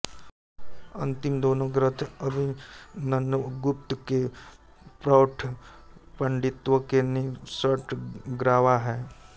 अंतिम दोनें ग्रंथ अभिनवगुप्त के प्रौढ़ पांडित्य के निकषग्रावा हैं